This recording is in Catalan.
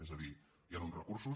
és a dir hi han uns recursos